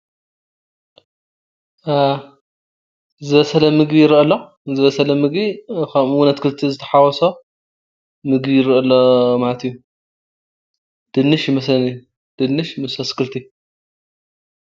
ዝበሰለ ምግቢ ይረአ ኣሎ ዝበሰለ መግቢ ከምኡ እዉን ኣትክልቲ ዝተሓወሶ ምግቢ ይረአ ኣሎ ማለት እዩ:: ድንሽ ይመስለኒ ድንሽ ምስ ኣትክልቲ።